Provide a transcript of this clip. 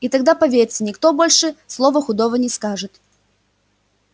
и тогда поверьте никто больше слова худого не скажет